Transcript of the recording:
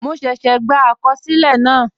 Mo ṣẹ́ṣẹ́ gbà àkọsílẹ̀ náà